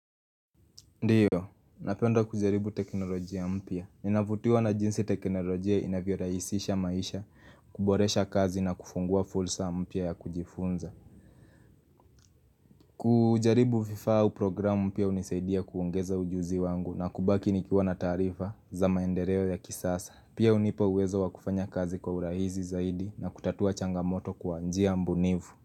Ndiyo, napenda kujaribu teknolojia mpya. Ninavutiwa na jinsi teknolojia inavyo raisisha maisha, kuboresha kazi na kufungua fulsa mpya ya kujifunza. Kujaribu vifaa au programu mpya unisaidia kuongeza ujuzi wangu na kubaki nikiwa na taarifa za maendereo ya kisasa. Pia unipa uwezo wa kufanya kazi kwa urahizi zaidi na kutatua changamoto kwa njia mbunivu.